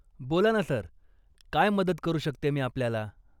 बोला ना, सर, काय मदत करू शकते मी आपल्याला ?